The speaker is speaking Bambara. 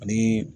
Ani